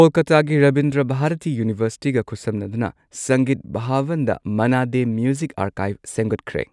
ꯀꯣꯜꯀꯥꯇꯥꯒꯤ ꯔꯕꯤꯟꯗ꯭ꯔ ꯚꯥꯔꯇꯤ ꯌꯨꯅꯤꯚꯔꯁꯤꯇꯤꯒ ꯈꯨꯠꯁꯝꯅꯗꯨꯅ ꯁꯪꯒꯤꯠ ꯚꯥꯕꯟꯗ ꯃꯟꯅꯥ ꯗꯦ ꯃ꯭ꯌꯨꯖꯤꯛ ꯑꯥꯔꯀꯥꯢꯚ ꯁꯦꯝꯒꯠꯈ꯭ꯔꯦ꯫